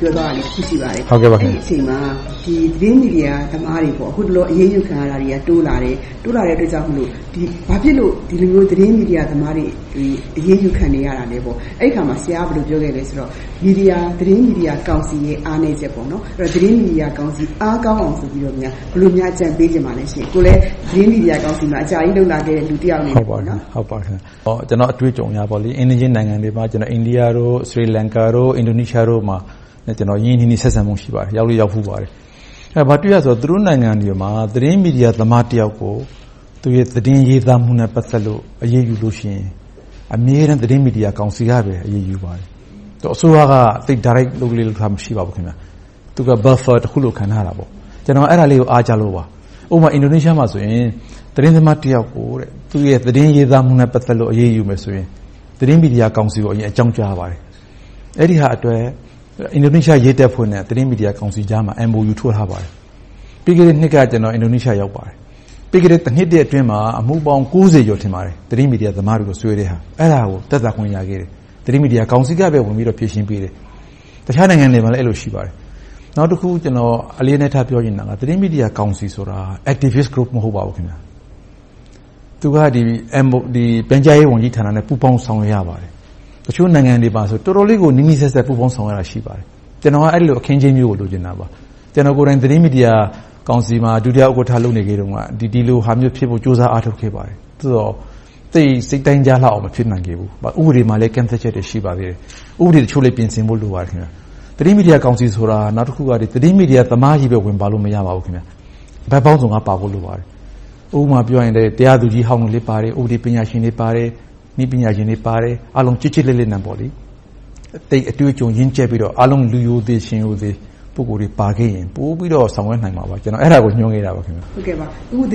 ပြောဆိုသွားတာ ရှိပါတယ်။ အဲဒီအချိန်မှာ သတင်းမီဒီယာသမားတွေ အခုတလော အရေးယူခံရတာတွေ တိုးလာပြီး၊ ဘာဖြစ်လို့ ဒီလိုမျိုး သတင်းမီဒီယာသမားတွေ အရေးယူခံနေရတာလဲဆိုတော့ အဲဒီအခါမှာ ဆရာက ဘယ်လိုပြောခဲ့သလဲဆိုတော့ သတင်းမီဒီယာကောင်စီရဲ့ အားနည်းချက်။ သတင်းမီဒီယာကောင်စီ အားကောင်းအောင် ဘယ်လိုများ အကြံပေးချင်ပါလဲ။ ကိုယ်လည်း သတင်းမီဒီယာကောင်စီမှာ အကြာကြီးလုပ်လာခဲ့တဲ့ လူတယောက်အနေနဲ့။ ကျနော့်အတွေ့အကြုံအရပေါ့ - အိမ်နီးချင်းနိုင်ငံတွေမှာ အိန္ဒိယ၊ သီရိလင်္ကာ၊ အင်ဒိုနီးရှားတို့မှာ ကျနော် ရင်းရင်းနှီးနှီး ဆက်ဆံမှု ရှိပါတယ်။ ရောက်လည်းရောက်ဖူးပါတယ်။ အဲဒီမှာ ဘာတွေ့ရသလဲဆိုတော့ သူတို့နိုင်ငံတွေမှာ သတင်းမီဒီယာသမားတယောက်ကို သူ့ရဲ့သတင်းရေးသားမှုနဲ့ ပတ်သက်လို့ အရေးယူလို့ရှိရင် အမြဲတမ်း သတင်းမီဒီယာကောင်စီကပဲ အရေးယူပါတယ်။ အစိုးရက Direct လုပ်လေ့လုပ်ထ မရှိပါဘူး။ သူက Buffer ကြားခံတခုလို့ ခံထားတာပေါ့။ ကျနော် အဲဒါလေးကို အားကျလို့ပါ။ ဥပမာ အင်ဒိုနီးရှားမှာဆိုရင် သတင်းသမားတယောက်ကို သူ့ရဲ့ သတင်းရေးသားမှုနဲ့ ပတ်သက်လို့ အရေးယူမယ်ဆိုရင် သတင်းမီဒီယာကောင်စီကို အကြောင်းကြားရပါတယ်။ အဲဒီဟာအတွက် အင်ဒိုနီးရှား ရဲတပ်ဖွဲ့နဲ့ သတင်းမီဒီယာကြားမှာ MOU ထိုးထားပါတယ်။ ပြီးခဲ့တဲ့နှစ်က ကျနော် အင်ဒိုနီးရှား ရောက်ပါတယ်။ ပြီးခဲ့တဲ့ တနှစ်အတွင်းမှာ အမှုပေါင်း ကျော် သတင်းမီဒီယာသမားတွေကို တရားစွဲထားတာကို သက်သာခွင့်ရခဲ့တယ်။ သတင်းမီဒီယာကောင်စီကပဲ ဖြေရှင်းပေးတယ်။ တခြားနိုင်ငံတွေမှာလည်း အဲဒီလို ရှိပါတယ်။ နောက်တခု ကျနော် အလေးအနက် ပြောချင်တာက သတင်းမီဒီယာကောင်စီဆိုတာ Activist Role မဟုတ်ပါဘူး။ သူက ပြန်ကြားရေးဝန်ကြီးဌာနနဲ့ ပူးပေါင်းဆောင်ရွက်ရပါတယ်။ တချို့နိုင်ငံတွေမှာဆိုရင် တော်တော်လေးကို နီးနီးစပ်စပ် ပူးပေါင်းဆောင်ရွက်ရတာ ရှိပါတယ်။ ကျနော်က အဲဒီလို အခင်းအကျင်းမျိုးကို လိုချင်တာပါ။ ကျနော်ကိုယ်တိုင် သတင်းမီဒီယာကောင်စီမှာ ဒုတိယဥက္ကဋ္ဌ လုပ်ခဲ့တုန်းက ဒီလိုဟာမျိုးဖြစ်ဖို့ ကြိုးစားအားထုတ်ခဲ့ပါတယ်။ အခုတော့ သိပ်စိတ်တိုင်းကျလောက်အောင် မဖြစ်နိုင်သေးဘူး။ ဥပဒေမှာလည်း ကန့်သတ်ချက်တွေ ရှိနေပါသေးတယ်။ ဥပဒေအချို့လည်း ပြင်ဆင်ဖို့ လိုပါတယ်။ သတင်းမီဒီယာကောင်စီဆိုတာ သတင်းမီဒီယာသမားချည်း ဝင်ပါလို့ မရပါဘူး။ ဘက်ပေါင်းစုံကပါဖို့ လိုပါတယ်။ ဥပမာအားဖြင့် တရားသူကြီးဟောင်းလည်းပါမယ်။ ဥပဒေပညာရှင်တွေပါမယ်။ နည်းပညာရှင်တွေပါမယ်။ အားလုံး ကျစ်ကျစ်လစ်လစ်နဲ့ သိပ်အတွေ့အကြုံ ရင့်ကျက်ပြီးတော့ အားလုံး လူရိုသေရှင်ရိုသေ ပုဂ္ဂိုလ်တွေ ပါခဲ့ရင် ပိုပြီးတော့ ဆောင်ရွက်နိုင်မှာပါ။ ကျနော်က အဲဒါကို မျှော်နေတာပါ။ သတင်း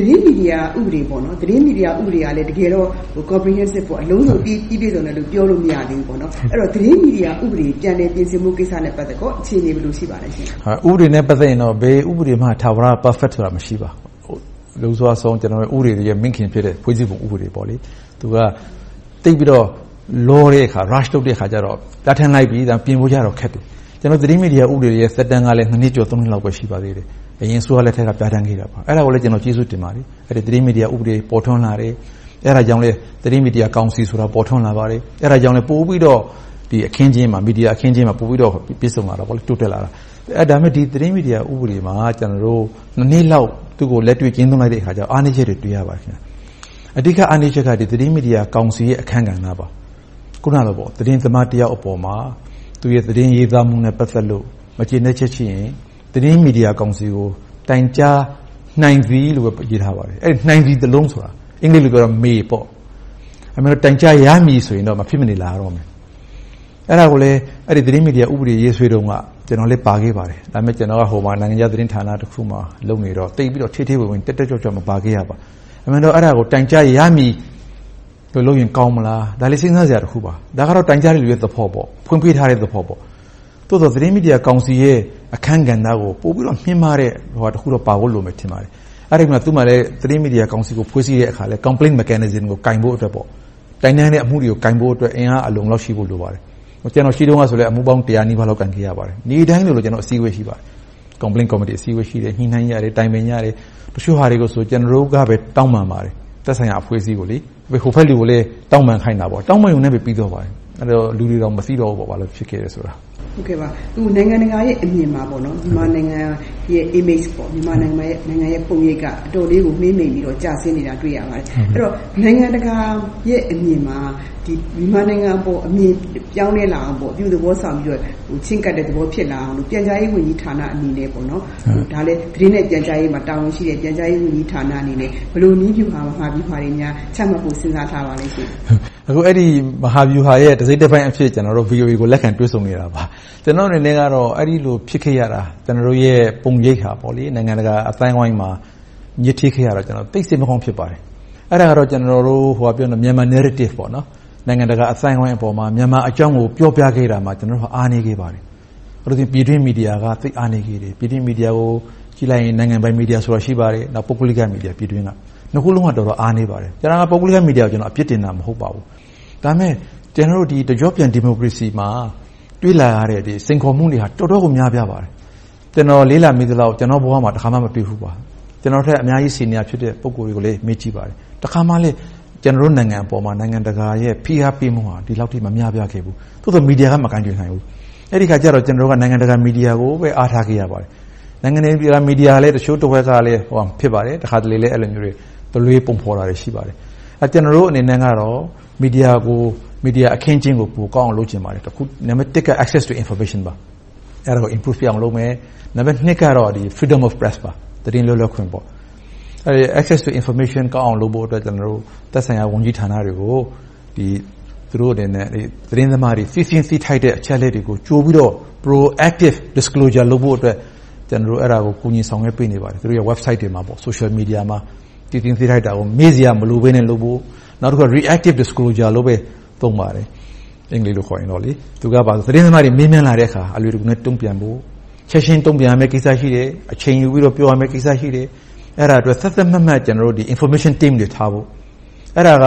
မီဒီယာဥပဒေကလည်း တကယ်တော့ အလုံးစုံ ပြီပြည့်စုံတယ် ပြောလို့မရသေးဘူး။ အဲဒီတော့ သတင်းမီဒီယာဥပဒေ ပြန်လည်ပြင်ဆင်ဖို့ကိစ္စနဲ့ ပတ်သက်လို့ အခြေအနေ ဘယ်လိုရှိပါလဲ။ ဥပဒေနဲ့ ပတ်သက်ရင်တော့ ဘယ်ဥပဒေမှ ထာဝရ Perfect ဆိုတာ မရှိပါဘူး။ လွန်စွအဆုံး ဥပဒေတွေရဲ့ မိခင်ဖြစ်တဲ့ ဖွဲ့စည်းပုံဥပဒေ သူက သိပ်ပြီးတော့ လောတဲ့အခါကြတော့ ဒါထည့်လိုက်ပြီဆိုရင် ပြင်ဖို့ခက်တယ်။ ကျနော်တို့ သတင်းမီဒီယာသက်တမ်းကလည်း နှစ်ကျော် နှစ်လောက်ပဲ ရှိသေးတယ်။ အရင်အစိုးရလက်ထက်က ပြဌာန်းခဲ့တာပါ။ အဲဒါကိုလည်း ကျေးဇူးတင်ပါတယ်။ သတင်းမီဒီယာ ဥပဒေ ပေါ်ထွန်းလာတယ်။ အဲဒါကြောင့်လဲ သတင်းမီဒီယာကောင်စီဆိုတာ ပိုထွန်းလာပါတယ်။ အဲဒါကြောင့် ပိုပြီးတော့ မီဒီယာအခင်းအကျင်းမှာ ပိုပြီးတော့ ပြည့်စုံလာတယ်၊ တိုးတက်လာတယ်။ ဒါပေမဲ့ ဒီသတင်းမီဒီယာ ဥပဒေမှာ နှစ်လောက် သူကို လက်တွေ့ကျင့်သုံးလိုက်တဲ့အခါကြတော့ အားနည်းချက်တွေကို တွေ့ရပါတယ်။ အဓိကအားနည်းချက်က သတင်းမီဒီယာကောင်စီရဲ့ အခန်းကဏ္ဍပါ။ အခုနလို သတင်းသမားတယောက်အပေါ်မှာ သူ့ရဲ့ သတင်းရေးသားမှုနဲ့ ပတ်သက်လို့ မကျေနပ်ချက်ရှိရင် သတင်းမီဒီယာကောင်စီကို တိုင်းကြားနိုင်သည်လို့ပဲ ရေးထားပါတယ်။ အဲဒီ “နိုင်သည်” စာလုံးက အင်္ဂလိပ်မှာဆို “May” ဖြစ်တယ်။ အဲဒီအစား “တိုင်းကြားရမည်” ဆိုရင်တော့ မဖြစ်မနေလာရတော့မယ်။ အဲဒါကိုလဲ သတင်းမီဒီယာဥပဒေ ရေးဆွဲတုန်းက ကျနော်လည်း ပါခဲ့ပါတယ်။ ဒါပေမဲ့ ကျနော်က နိုင်ငံခြားသတင်းဌာနတခုမှာ လုပ်နေတော့ သိပ်ပြီးတော့ ထဲထဲဝင်ဝင်၊ တက်တက်ကြွကြွ မပါခဲ့ပါဘူး။ အမှန်တော့ အဲဒါကို “တိုင်းကြားရမည်” ပြင်လိုက်ရင် ကောင်းမလား - ဒါလဲ စဉ်းစားစရာတခုပါ။ ဒါကတော့ တိုင်းကြားသူရဲ့ သဘောပေါ့။ ဖွင့်ပေးထားတဲ့သဘောပေါ့။ သို့သော် သတင်းမီဒီယာကောင်စီရဲ့ အခန်းကဏ္ဍကို ပိုပြီးတော့ မြင့်မားတဲ့အရာတခုတော့ ပါဖို့လိုမယ် ထင်ပါတယ်။ အဲဒီမှာလဲ သတင်းမီဒီယာကို ဖွဲ့စည်းတဲ့အခါမှာ Complaints mechanism ကို ကိုင်ဖို့အတွက် အင်အားအလုံအလောက်ရှိဖို့ လိုပါတယ်။ ကျနော် ရှိတုန်းကလည်း အမှုပေါင်း တစ်ရာနီးပါးလောက် ကိုင်ခဲ့ရပါတယ်။ နေ့တိုင်းလိုလို ကျနော်တို့ အစည်းအဝေး ရှိပါတယ်။ Complaint Committee အစည်းအဝေး ရှိတယ်။ ညှိနှိုင်းကြတယ်။ တိုင်ပင်ကြတယ်။ တချို့ဟာတွေဆို ကျနော်တို့ကပဲ တောင်းပန်ပါတယ်။ သက်ဆိုင်ရာအဖွဲ့အစည်းကို။ ဟိုဘက်လူကိုလည်း တောင်းပန်ခိုင်းတာပေါ့။ တောင်းပန်ရုံနဲ့ ပြီးသွားပါတယ်။ အဲဒီတော့ လူတွေတောင် မသိတော့ဘူး ဘာလို့ဖြစ်ခဲ့တယ်ဆိုတာ။ အခု နိုင်ငံတကာရဲ့အမြင်မှာ မြန်မာနိုင်ငံရဲ့ Image ပုံရိပ်က အတော်လေးကို မှေးမှိန်ပြီးတော့ ကျဆင်းနေတာကို တွေ့ရပါတယ်။ အဲဒီတော့ နိုင်ငံတကာရဲ့ အမြင်မှာ မြန်မာနိုင်ငံအပေါ် အမြင်ပြောင်းလဲလာအောင် - အပြုသဘောဆောင်ပြီးတော့ ချဉ်းကပ်တဲ့သဘော ဖြစ်လာအောင် ပြန်ကြားရေးဝန်ကြီးဌာနအနေနဲ့ ဒါလဲ သတင်းနဲ့ပြန်ကြားရေးမှာ တာဝန်ရှိတဲ့ ပြန်ကြားရေးဌာနအနေနဲ့ ဘယ်လိုနည်းဗျူကိုမှာပြီး ဘာတွေများ ချမှတ်ဖို့ စဉ်းစားထားပါသလဲ။ အဲဒီ မဟာဗျူဟာရဲ့ တစိတ်တပိုင်းအဖြစ် ကျနော်တို့ VOA ကို လက်ခံတွေ့ဆုံနေတာပါ။ အဲဒီလို ဖြစ်ခဲ့ရတာ ကျနော်တို့ရဲ့ ပုံရိပ်ဟာ နိုင်ငံတကာအသိုင်းအဝိုင်းမှာ ညစ်ထေးခဲ့ရတာကြောင့် သိပ်စိတ်မကောင်း ဖြစ်ရပါတယ်။ အဲဒါက Myanmar Narrative နိုင်ငံတကာအသိုင်းအဝိုင်းပေါ်မှာ မြန်မာအကြောင်းကို ပြောပြခဲ့ဖို့ကို ကျနော်တို့ အားနည်းခဲ့ပါတယ်။ ပြည်တွင်းမီဒီယာက သိပ်အားနည်းခဲ့တယ်။ ပြည်တွင်းမီဒီယာကို ကြည့်လိုက်ရင် နိုင်ငံပိုင်မီဒီယာဆိုတာ ရှိပါတယ်။ ပုဂ္ဂလိကမီဒီယာ။ နှစ်ခုစလုံးက တော်တော်အားနည်းပါတယ်။ ပုဂ္ဂလိကမီဒီယာကို အပြစ်တင်နေတာ မဟုတ်ပါဘူး။ ဒါပေမဲ့ ကျနော်တို့ တကျော့ပြန် ဒီမိုကရေစီမှာ တွေ့လာရတဲ့ စိန်ခေါ်မှုတွေက တော်တော်ကို များပြားပါတယ်။ ကျနော် လေ့လာမိသလောက် ကျနော့်ဘဝမှာ တခါမှ မတွေ့ဖူးပါဘူး။ ကျနော့်ထက် အများကြီး ဆီနီယာရှိတဲ့ ပုဂ္ဂိုလ်တွေကိုလည်း မေးကြည့်ပါတယ်။ တခါမှ ကျနော်တို့ နိုင်ငံအပေါ် နိုင်ငံတကာရဲ့ ဖိအားပေးမှုက ဒီလောက်အထိ မများပြားခဲ့ဘူး။ သို့သော် မီဒီယာက မကိုင်တွယ်နိုင်ဘူး။ အဲဒီအခါကြတော့ ကျနော်တို့က နိုင်ငံတကာ မီဒီယာကိုပဲ အားထားခဲ့ရပါတယ်။ နိုင်ငံတကာမီဒီယာ တချို့တဝက်ကလည်း တခါတလေ တလွဲပုံဖော်တာတွေ ရှိပါတယ်။ ကျနော်တို့ အနေနဲ့ကတော့ မီဒီယာအခင်းအကျင်းကို ပိုကောင်းအောင် လုပ်ချင်ပါတယ်။ နံပတ်တစ်က Access to Information ပါ။ အဲဒါကို တိုးတက်အောင်လုပ်မယ်။ နံပတ်နှစ်က Freedom of Press သတင်းလွတ်လပ်ခွင့်။ Access to Information ကောင်းအောင်လုပ်ဖို့ သက်ဆိုင်ရာဝန်ကြီးဌာနတွေကို သူတို့အနေနဲ့ သတင်းသမားတွေ သိချင်တဲ့ သိသင့်သိထိုက်တဲ့ သတင်းအချက်အလက်တွေကို ကြိုပြီးတော့ Pro-active Disclosure လုပ်ဖို့အတွက် ကျနော်တို့ ကူညီဆောင်ရွက်ပေးနေပါတယ်။ သူတို့ရဲ့ Website တွေမှာ Social Media တွေမှာ။ သိသင့်သိထိုက်စရာတွေကို မေးစရာမလိုဘဲနဲ့ လုပ်ဖို့။ နောက်တခုက Reactive Disclosure လို့ပဲ သုံးပါတယ်။ သတင်းသမားတွေ မေးမြန်းလာတဲ့အခါ အလွယ်တကူ တုံ့ပြန်ဖို့ ချက်ချင်းတုံ့ပြန်ရမယ့်ကိစ္စ ရှိမယ်။ အချိန်ယူပြီးတော့ ပြောရမယ့်ကိစ္စ ရှိတယ်။ အဲဒါတွေအတွက် သတ်သတ်မှတ်မှတ် Information Team တွေထားဖို့ အဲဒါက